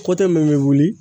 kote min be wuli